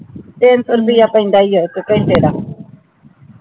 ਤੀਨ ਸੋ ਰੁਪਿਯ ਪੈਂਦਾ ਹੀ ਆ ਇਕ ਘੰਟੇ ਦਾ